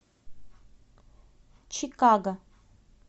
чикаго